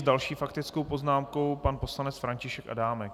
S další faktickou poznámkou pan poslanec František Adámek.